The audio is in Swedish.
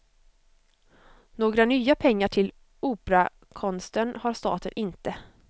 Några nya pengar till operakonsten har staten inte.